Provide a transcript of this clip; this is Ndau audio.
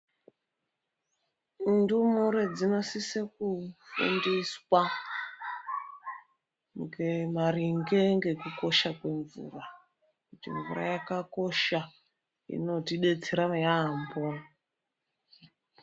Ndumure dzinosise kufundiswa maringe nekukosha kwemvura kuti mvura yakakosha inoti detsera yaamho.